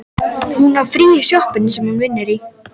Hún á frí frá sjoppunni sem hún vinnur í.